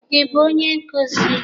Ị bụ onye nkuzi?